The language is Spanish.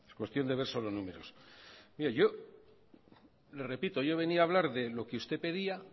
cuestión de ver solo números repito yo venía a hablar de lo que usted pedía